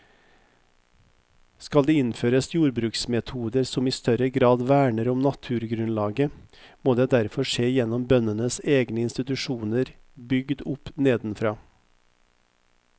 Skal det innføres jordbruksmetoder som i større grad verner om naturgrunnlaget, må det derfor skje gjennom bøndenes egne institusjoner bygd opp nedenfra.